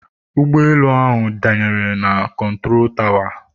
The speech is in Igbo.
ụgbọelu ahụ danyere na kọntụro tawa